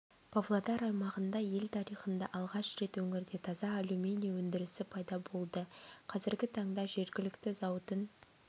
павлодар аймағында ел тарихында алғаш рет өңірде таза алюминий өндірісі пайда болды қазіргі таңда жергілікті зауытың